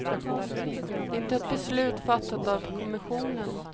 Det är inte ett beslut fattat av kommissionen.